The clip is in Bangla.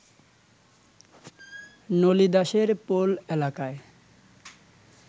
নলী দাসের পোল এলাকায়